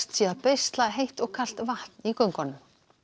sé að beisla heitt og kalt vatn í göngunum